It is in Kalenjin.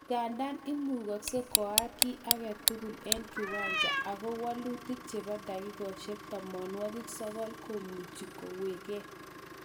Nganda imugoksei koaak kiy age tugul eng kiwanja ,ago walutik chebo dakikaishek tamanwokik sokol komuchi kekwong'e